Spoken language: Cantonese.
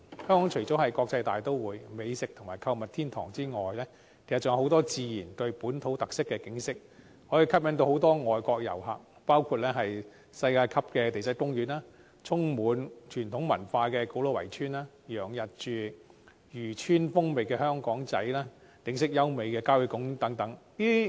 香港除了是國際大都會、美食及購物天堂外，還有很多自然和具本土特色的景點，可以吸引很多外國旅客，包括世界級的地質公園、充滿傳統文化的古老圍村、洋溢漁村風情的香港仔、景色優美的郊野公園等。